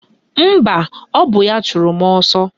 Mba, ọ bụ ya chụrụ mụ ọsọ